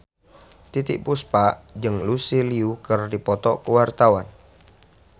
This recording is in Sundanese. Titiek Puspa jeung Lucy Liu keur dipoto ku wartawan